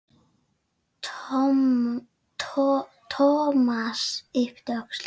Thomas yppti öxlum.